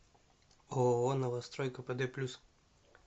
ооо новострой кпд плюс